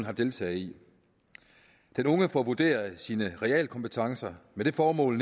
har deltaget i den unge får vurderet sine realkompetencer med det formål